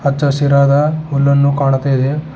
ಅಚ್ಚ ಹಸಿರಾದ ಹುಲ್ಲನ್ನು ಕಾಣ್ತಾ ಇದೆ.